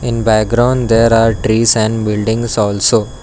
In background there are trees and buildings also.